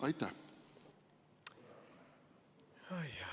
Oi jah!